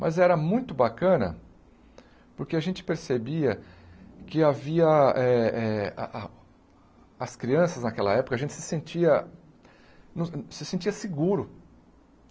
Mas era muito bacana porque a gente percebia que havia eh eh... a a as crianças naquela época, a gente se sentia... se sentia seguro.